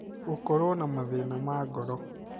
gũkorwo na mathĩna ma ngoro